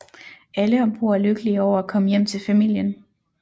Alle om bord er lykkelige over at komme hjem til familien